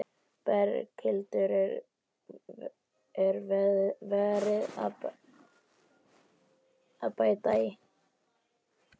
Berghildur: Er verið að bæta í?